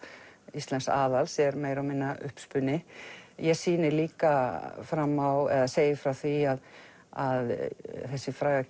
Íslensks aðals er meira og minna uppspuni ég sýni líka fram á eða segi frá því að þessi fræga